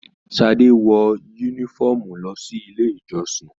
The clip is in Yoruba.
Sadé wọ yúnífọ̀ọ́mù lọ sí ilé ìjọsìn.